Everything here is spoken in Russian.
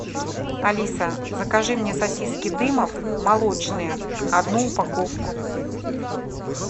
алиса закажи мне сосиски дымов молочные одну упаковку